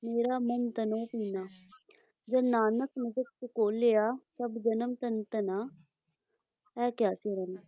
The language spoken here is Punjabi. ਮੇਰਾ ਮਨੁ ਤਨੋ ਭਿੰਨਾ ॥ ਜਨੁ ਨਾਨਕੁ ਮੁਸਕਿ ਝਕੋਲਿਆ ਸਭੁ ਜਨਮੁ ਧਨੁ ਧੰਨਾ ਐ ਕਿਹਾ ਸੀ ਉਹਨਾਂ ਨੇ